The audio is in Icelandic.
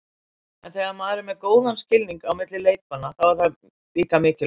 En þegar maður er með góðan skilning milli leikmanna, þá er það líka mikilvægt.